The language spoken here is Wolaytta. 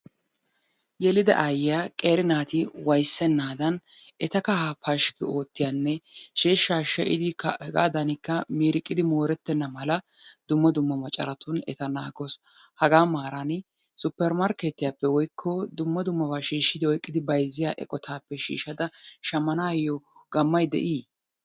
Yelida aayyiya qeeri naati wayssennaadan eta kahaa pashkki oottiyanne sheeshshaa she'idikka hegaadaanikka miiriqidi moorettenna mala dumma dumma macaratun eta naagawusu.. Hagaa maaraani suppermarkkeetiyappe woykko dumma dummaba shiishshidi oyqqidi bayzziya eqotaappe shiishadada shammanaayyo gammay de'ii?